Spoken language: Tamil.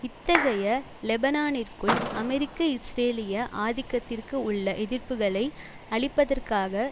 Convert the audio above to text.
இத்தகைய லெபனானிற்குள் அமெரிக்க இஸ்ரேலிய ஆதிக்கத்திற்கு உள்ள எதிர்ப்புக்களை அழிப்பதற்காக